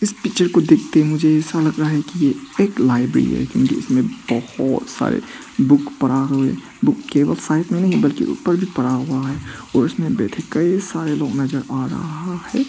इस पिक्चर को देखते ही मुझे ऐसा लग रहा हैं कि ये एक लाइब्रेरी है जिसमे बहुत सारे बुक पड़ा हुआ हैं बुक केवल साईड में नहीं बल्कि ऊपर भी पड़ा हुआ है और इसमें बैठे कई सारे लोग नजर आ रहा हैं।